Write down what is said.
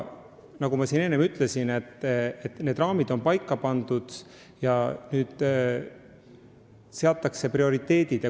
Nagu ma enne ütlesin, raamid on paika pandud ja prioriteedid seatud.